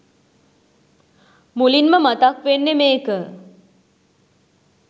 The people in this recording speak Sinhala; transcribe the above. මුලින්ම මතක් වෙන්නෙ මේක.